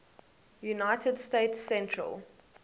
united states central